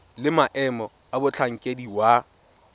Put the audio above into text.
le maemo a motlhankedi wa